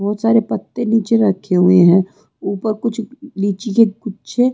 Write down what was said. बहुत सारे पत्ते नीचे रखे हुए हैं ऊपर कुछ नीची के गुच्छे।